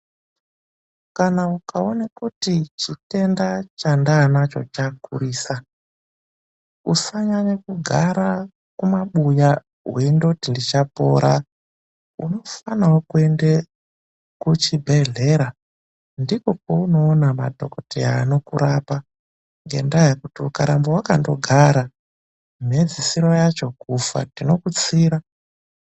Kana ukaona kuti chitenda chandaanacho chakurisa, usanyanya kugara kumabuya weindoti ndichapora. Unofanawo kuende kuchibhedhlera ndiko kweunoona madhokodheya anokurapa, ngendaa yekuti ukaramba wakandogara, mhedzisiro yacho kufa, tinokutsira.